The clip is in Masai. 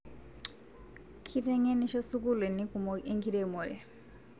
Ketengenisho sukulini kumok enkiremore